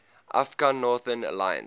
afghan northern alliance